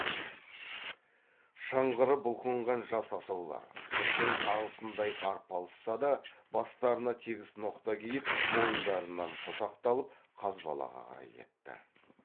шыңғырып бұлқынған жас асаулар түздің тағысындай арпалысса да бастарына тегіс ноқта киіп мойындарынан қосақталып қазбалаға қарай кетті